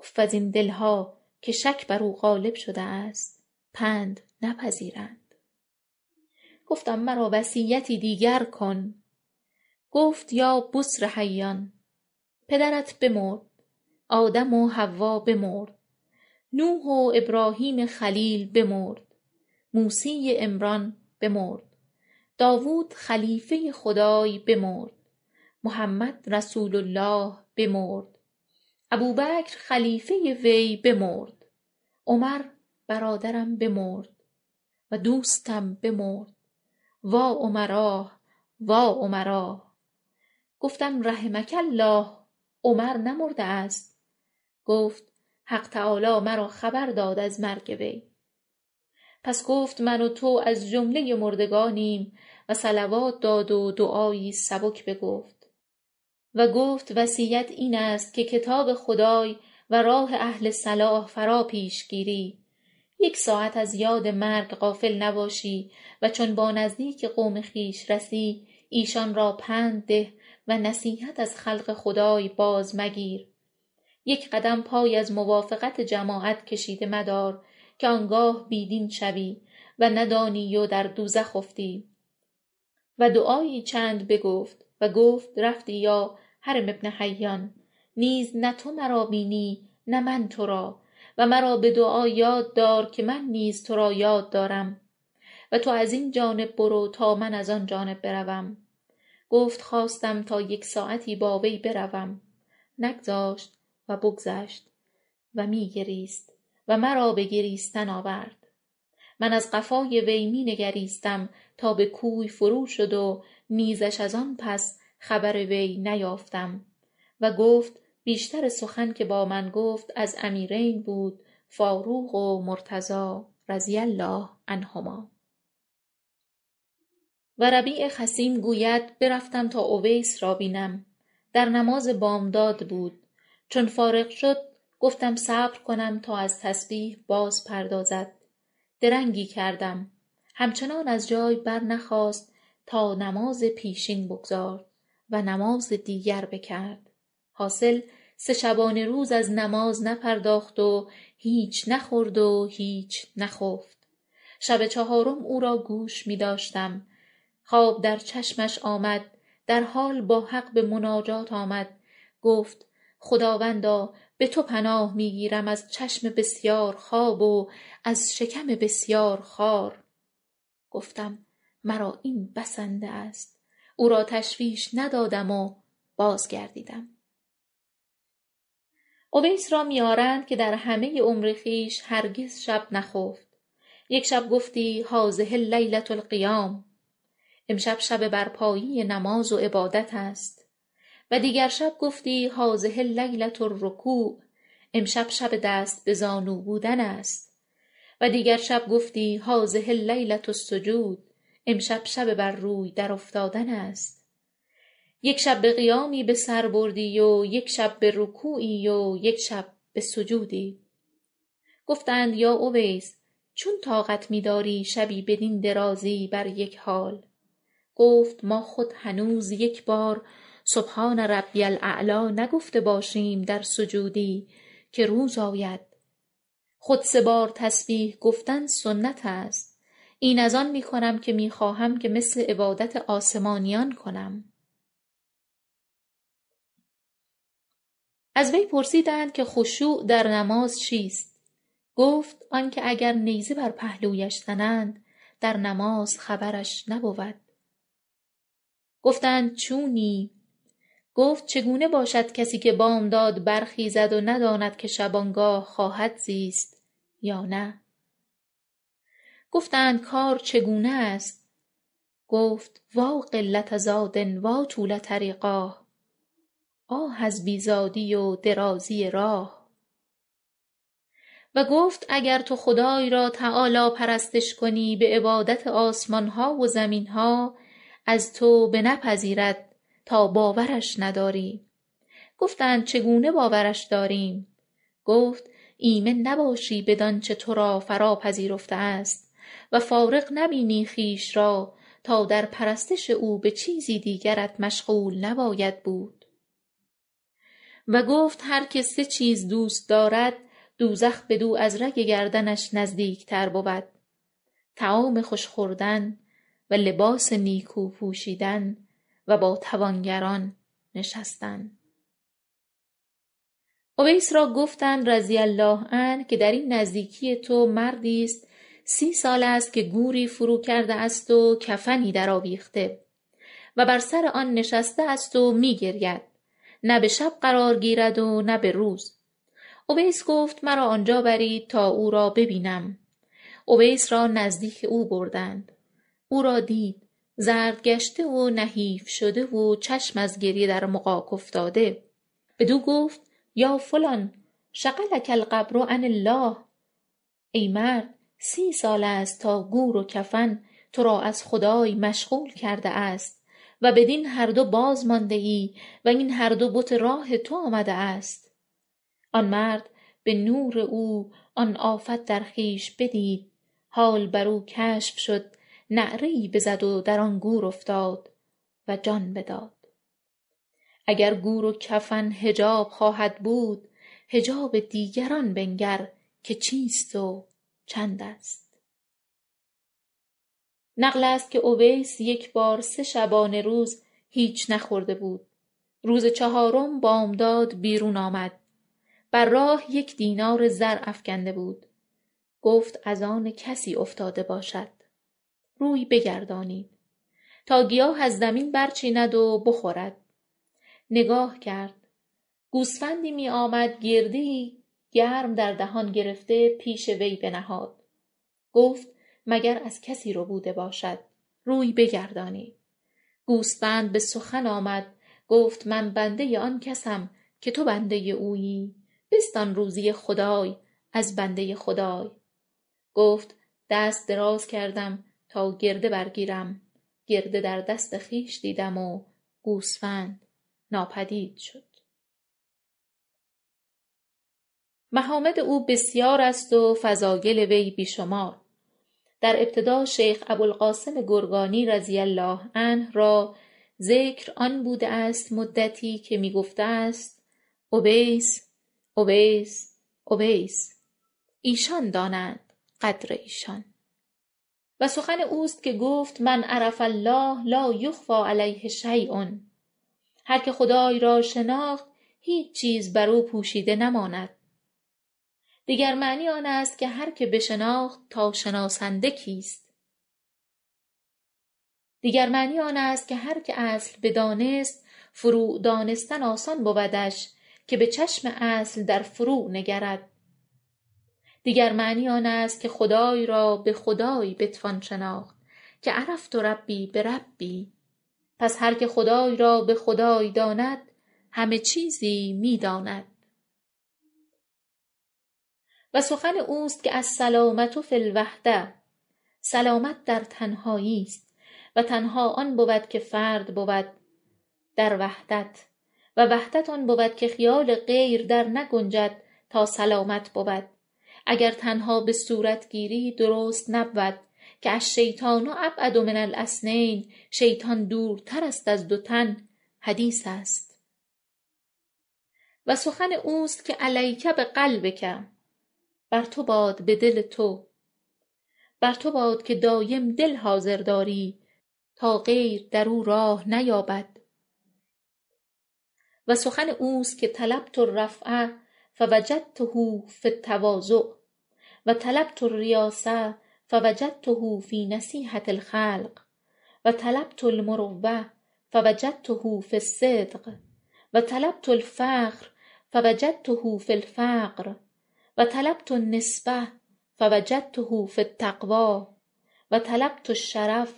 اف از این دلها که شک برو غالب شده است پند نپذیرد گفتم مرا وصیتی دیگر کن گفت یا بسر حیان پدرت بمرد آدم و حوا بمرد نوح و ابراهیم خلیل بمرد موسی عمران بمرد داود خلیل خدای بمرد محمد رسول الله بمرد ابوبکر خلیفه وی بمردعمر برادرم بمرد و دوستم بمرد واعمراه واعمراه گفتم رحمک الله عمر نمرده است گفت حق تعالی مرا خبر داد از مرگ وی پس گفت من و تو از جملۀ مردگانیم و صلوات داد و دعایی سبک بگفت و گفت وصیت این است که کتاب خدای و راه اهل صلاح فراپیش گیری یک ساعت از یاد مرگ غافل نباشی و چون با نزدیک قوم و خویش رسی ایشان را پند ده و نصیحت از خلق خدای باز مگیر یک قدم پای از موافقت جماعت کشیده مدار که آنگاه بی دین شوی و ندانی و در دوزخ افتی و دعایی چند بگفت و گفت رفتی یا هرم بن حیان نیز نه تو مرا بینی و نه من تو را و مرا به دعا یاد دار که من نیز تو را یاد دارم و تو از این جانب برو تا من از آن جانب بروم گفت خواستم تا یک ساعتی با وی بروم نگذاشت و بگذشت و می گریست و مرا به گریستن آورد من از قفای او می نگریستم تا به کوی فروشد و نیزش از آن پس خبری نیافتم و گفت بیشتر سخن که با من گفت از امیرین بود فاروق و مرتضی رضی الله عنهما و ربیع خثیم گوید برفتم تا اویس را بینم در نماز بامداد بود چون فارغ شد گفتم صبر کنم تا از تسبیح بازپردازد درنگی کردم همچنان از جای برنخاست تا نماز پیشین بگزارد و نماز دیگر بکرد حاصل سه شبانه روز از نماز نپرداخت و هیچ نخورد و نخفت شب چهارم او را گوش می داشتم خواب در چشمش آمد در حال با حق به مناجات آمد گفت خداوندا به تو پناه می گیرم از چشم بسیار خواب و از شکم بسیار خوار گفتم مرا این بسنده است او را تشویش ندادم و بازگردیدم اویس را می آرند که در همه عمر خویش هرگز شب نخفت یک شبی گفتی هذه لیلة القیام امشب شب برپایی نماز و عبادت است و دیگر شب گفتی هذه لیلة الرکوع امشب شب دست به زانو بودن است و دیگر شب گفتی هذه لیلة السجود امشب شب بر روی درافتادن است یک شب به قیامی بسر بردی و یک شب به رکوعی و یک شب به سجودی گفتند یا اویس چون طاقت می داری شبی بدین درازی بر یک حال گفت ما خود هنوز یکبار سبحان ربی الأعلی نگفته باشیم در سجودی که روز آید خود سه بار تسبیح گفتن سنت است این از آن می کنم که می خواهم که مثل عبادت آسمانیان کنم از وی پرسیدند که خشوع در نماز چیست گفت آنکه اگر نیزه بر پهلوش زنند در نماز خبرش نبود گفتند چونی گفت چگونه باشد کسی که بامداد برخیزد و نداند که شبانگاه خواهد زیست یا نه گفتند کار چگونه است گفت وا قلة زاد وا طول طریقاه آه از بی زادی و درازی راه و گفت اگر تو خدای را تعالی پرستش کنی به عبادت آسمانها و زمینها از تو به بنپذیرد تا باورش نداری گفتند چگونه باورش داریم گفت ایمن نباشی بدانچه تو را فرا پذیرفته است و فارغ نبینی خویش را تا در پرستش او به چیزی دیگرت مشغول نباید بود گفت هر که سه چیز را دوست دارد دوزخ بدو از رگ گردنش نزدیکتر بود طعام خوش خوردن و لباس نیکو پوشیدن و با توانگران نشستن اویس را گفتند رضی الله عنه که دراین نزدیکی تو مردی است سی سال است که گوری فرو کرده است و کفنی درآویخته و بر سر آن نشسته است و می گرید و نه به شب قرار گیرد و نه به روز اویس گفت مرا آنجا برید تا او را ببینم اویس را نزدیک او بردند او را دید زرد گشته و نحیف شده و چشم از گریه در مغاک افتاده بدو گفت یا فلان شغلک القبر عن الله ای مرد سی سال است تا گور و کفن تو را از خدای مشغول کرده است و بدین هر دو باز مانده ای و این هر دو بت راه تو آمده است آن مرد به نور او آن آفت در خویش بدید حال برو کشف شد نعره ای بزد و در آن گور افتاد و جان بداد اگر گور و کفن حجاب خواهد بود حجاب دیگران بنگر که چیست و چندست نقل است که اویس یکبار سه شبانه روز هیچ نخورده بود روز چهارم بامداد بیرون آمد بر راه یک دینار زر افگنده بود گفت از آن کسی افتاده باشد روی بگردانید تا گیاه از زمین برچیند و بخورد نگاه کرد گوسفندی می آمد گرده ای گرم در دهان گرفته پیش وی بنهاد گفت مگر از کسی ربوده باشد روی بگردانید گوسفند به سخن آمد گفت من بنده آن کسم که تو بنده اویی بستان روزی خدای از بنده خدای گفت دست دراز کردم تا گرده برگیرم گرده در دست خویش دیدم گوسفند ناپدید شد محامد او بسیار است و فضایل وی بی شمار در ابتدا شیخ ابوالقاسم گرگانی را رضی الله عنه ذکر آن بوده ست مدتی که می گفته است اویس اویس اویس ایشان دانند قدر ایشان وسخن اوست که گفت من عرف الله لایخفی علیه شیء هرکه خدای را شناخت هیچ چیز بر او پوشیده نماند دیگر معنی آن است که هر که بشناخت تا شناسنده کیست دیگر معنی آن است که هر که اصل بدانست فروع دانستن آسان بودش که به چشم اصل در فروع نگرد دیگر معنی آن است که خدای را به خدای بتوان شناخت که عرفت ربی بربی پس هرکه خدای را به خدای داند همه چیزی می داند و سخن اوست که السلامة فی الوحدة سلامت در تنهایی است و تنها آن بود که فرد بود در وحدت و وحدت آن بود که خیال غیر درنگنجد تا سلامت بود اگر تنها به صورت گیری درست نبود که الشیطان أبعد من الاثنین شیطان دورتر است از دو تن حدیث است و سخن اوست که علیک بقلبک بر تو باد به دل تو یعنی برتو باد که دایم دل حاضر داری تا غیر در او راه نیابد و سخن اوست که طلبت الرفعة فوجدته فی التواضع و طلبت الریاسة فوجدته فی نصیحة الخلق و طلبت المروة فوجدته فی الصدق وطلبت الفخر فوجدته فی الفقر و طلبت النسبة فوجدته فی التقوی و طلبت الشرف